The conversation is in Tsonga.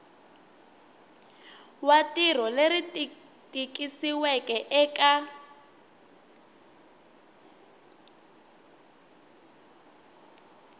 wa rito leri tikisiweke eka